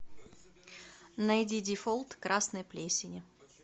найди дефолт красной плесени